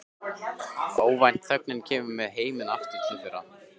Óvænt þögnin kemur með heiminn aftur til þeirra.